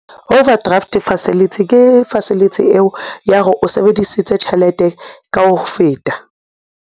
Overdraft facility ke facility eo ya ore o sebedisitse tjhelete ka ho feta.